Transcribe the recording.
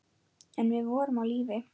En við vorum á lífi.